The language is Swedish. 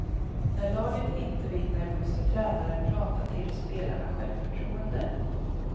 När laget inte vinner måste tränaren prata till spelarna självförtroende.